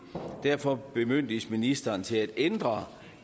og derfor bemyndiges ministeren til at ændre